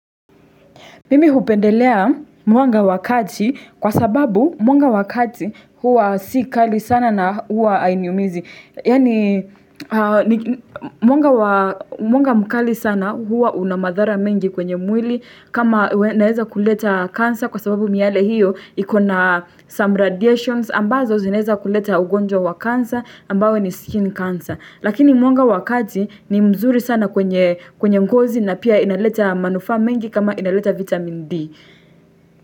Mimi hupendelea mwanga wakati kwa sababu mwanga wakati huwa si kali sana na huwa hainiumizi. Yani mwanga mkali sana huwa unamadhara mengi kwenye mwili kama naeza kuleta kansa kwa sababu miale hiyo ikona some radiations ambazo zineza kuleta ugonjwa wakansa ambao ni skin cancer. Lakini mwanga wakati ni mzuri sana kwenye ngozi na pia inaleta manufa mengi kama inaleta vitamin D.